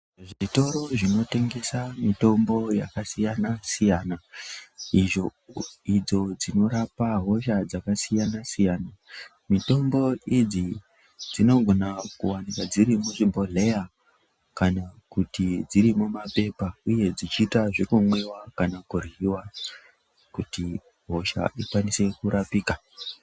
Zvitoro zvinotengesa mitombo yakasiyana siyana idzo dzinorapa hosha dzakasiyana siyana. Mitombo idzo dzinogona kuwanika dziri muzvi bhohleya kana kuti dziri mumapepa uye dzichiita zvekumwiwa kana kuryiwa kuti hosha ikwanise kurapika.